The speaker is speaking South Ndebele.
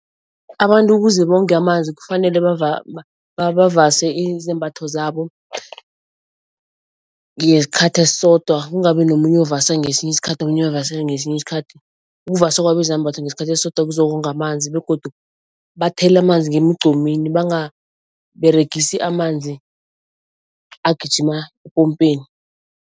Abantu ukuze bonge amanzi kufanele bavase izembatho zabo ngesikhathi esisodwa kungabi nomunye ovasa ngesinye isikhathi, omunye avase ngesinye isikhathi. Ukuvasa kwabo izambatho ngesikhathi esisodwa kuzokonga amanzi begodu bathele amanzi ngemigqomini, bangaberegisi amanzi agijima epompeni.